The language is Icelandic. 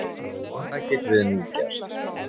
Hvað getum við nú gert?